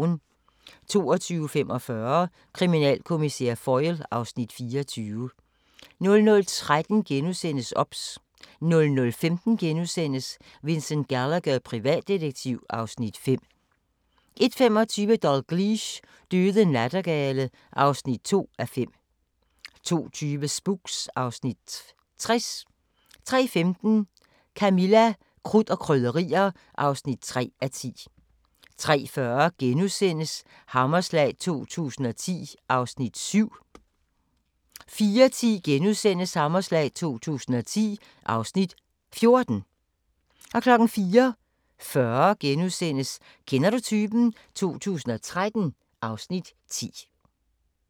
22:45: Kriminalkommissær Foyle (Afs. 24) 00:13: OBS * 00:15: Vincent Gallagher, privatdetektiv (Afs. 5)* 01:25: Dalgliesh: Døde nattergale (2:5) 02:20: Spooks (Afs. 60) 03:15: Camilla – Krudt og Krydderier (3:10) 03:40: Hammerslag 2010 (Afs. 7)* 04:10: Hammerslag 2010 (Afs. 14)* 04:40: Kender du typen? 2013 (Afs. 10)*